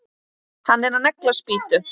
Hann er að negla spýtu.